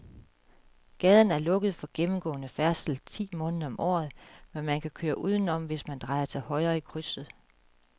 Gaden er lukket for gennemgående færdsel ti måneder om året, men man kan køre udenom, hvis man drejer til højre i krydset.